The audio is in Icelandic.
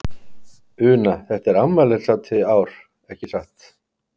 Una, þetta er afmælishátíð í ár, ekki satt?